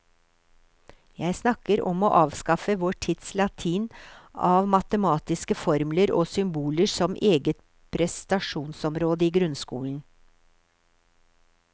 Jeg snakker om å avskaffe vår tids latin av matematiske formler og symboler som eget prestasjonsområde i grunnskolen.